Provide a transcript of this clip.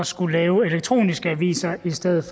skulle lave elektroniske aviser i stedet